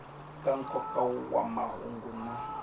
ka nkoka wa mahungu na